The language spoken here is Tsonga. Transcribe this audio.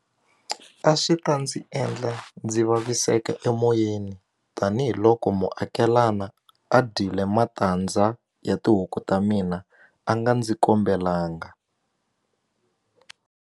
A swi ta ndzi endla ndzi vaviseka emoyeni tanihiloko muakelana a dyile matandza ya tihuku ta mina a nga ndzi kombelanga.